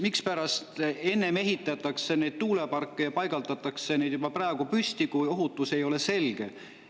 Mispärast ennem ehitatakse neid tuuleparke, pannakse neid juba praegu püsti, kui ohutus ei ole selge?